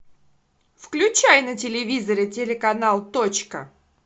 включай на телевизоре телеканал точка